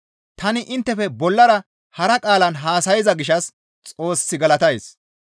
Tani inttefe bollara hara qaalan haasayza gishshas Xoos galatays.